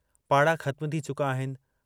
पाड़ा खत्म थी चुका आहिनि।